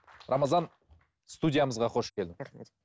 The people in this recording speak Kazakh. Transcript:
рамазан студиямызға қош келдің рахмет